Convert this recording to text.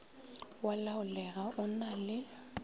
wa laolega o na le